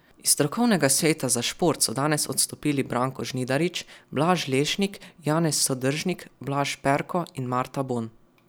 Iz strokovnega sveta za šport so danes odstopili Branko Žnidarič, Blaž Lešnik, Janez Sodržnik, Blaž Perko in Marta Bon.